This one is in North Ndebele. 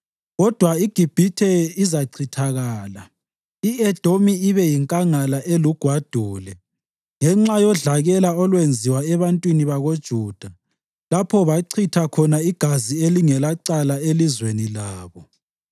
Kodwa iGibhithe izachithakala, i-Edomi ibe yinkangala elugwadule, ngenxa yodlakela olwenziwa ebantwini bakoJuda lapho bachitha khona igazi elingelacala elizweni labo.